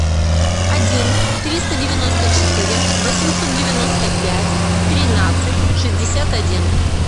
один триста девяносто четыре восемьсот девяносто пять тринадцать шестьдесят один